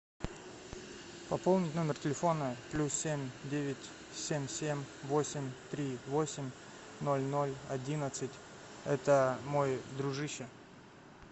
пополнить номер телефона плюс семь девять семь семь восемь три восемь ноль ноль одиннадцать это мой дружище